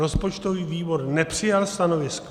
Rozpočtový výbor nepřijal stanovisko.